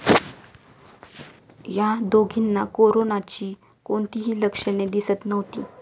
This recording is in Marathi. या दोघींना कोरनाची कोणतीही लक्षणे दिसत नव्हती.